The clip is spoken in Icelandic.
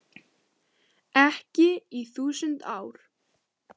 Ekki í þúsund ár.